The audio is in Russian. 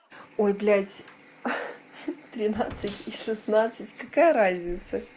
ой блядь тринадцать и шестнадцать какая разница